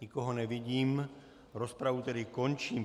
Nikoho nevidím, rozpravu tedy končím.